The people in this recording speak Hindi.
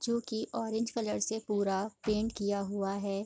जोकि ऑरेंज कलर से पूरा पेंट किया हुआ है ।